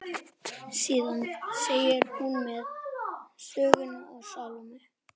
Síðan segir hún mér söguna af Salóme.